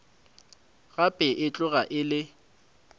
gape e tloga e le